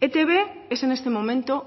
etb es en este momento